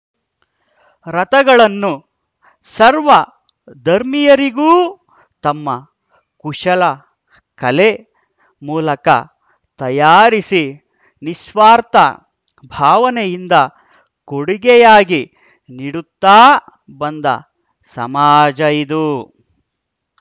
ರಥಗಳನ್ನು ಸರ್ವ ಧರ್ಮೀಯರಿಗೂ ತಮ್ಮ ಕುಶಲ ಕಲೆ ಮೂಲಕ ತಯಾರಿಸಿ ನಿಸ್ವಾರ್ಥ ಭಾವನೆಯಿಂದ ಕೂಡುಗೆಯಾಗಿ ನೀಡುತ್ತಾ ಬಂದ ಸಮಾಜ ಇದು